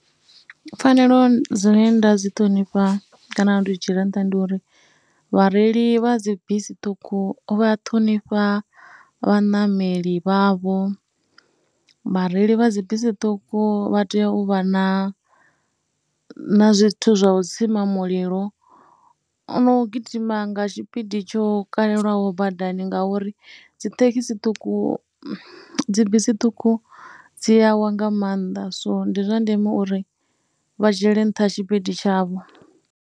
Pfhanelo dzine nda dzi ṱhonifha kana ndi dzi dzhiela nṱha ndi uri vhareili vha dzi bisi ṱhukhu vha ṱhonifha vhaṋameli vhavho, vhareili vha dzi bisi ṱhukhu vha tea u vha na na zwithu zwa u tsima mulilo na u gidima nga tshipidi tsho kaliwaho badani ngauri dzi thekhisi ṱhukhu, dzi bisi ṱhukhu dzi awa nga maanḓa. So ndi zwa ndeme uri vha dzhiele nṱha tshipidi tshavho.